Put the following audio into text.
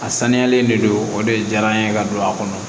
A saniyalen de don o de diyara n ye ka don a kɔnɔ